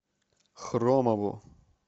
хромову